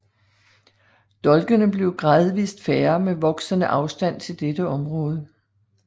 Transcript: Dolkene bliver gradvist færre med voksende afstand til dette område